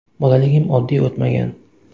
Bolaligim oddiy o‘tmagan.